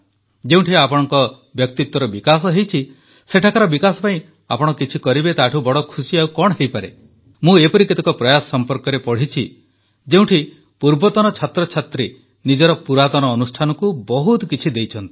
ଯେଉଁଠି ଆପଣଙ୍କ ବ୍ୟକ୍ତିତ୍ୱର ବିକାଶ ହୋଇଛି ସେଠାକାର ବିକାଶ ପାଇଁ ଆପଣ କିଛି କରିବେ ତାଠୁ ବଡ଼ ଖୁସି ଆଉ କଣ ହୋଇପାରେ ମୁଁ ଏପରି କେତେକ ପ୍ରୟାସ ସମ୍ପର୍କରେ ପଢ଼ିଛି ଯେଉଁଠି ପୂର୍ବତନ ଛାତ୍ରଛାତ୍ରୀ ନିଜର ପୁରାତନ ଅନୁଷ୍ଠାନକୁ ବହୁତ କିଛି ଦେଇଛନ୍ତି